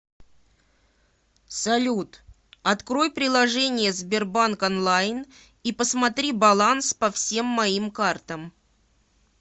салют открой приложение сбербанк онлайн и посмотри баланс по всем моим картам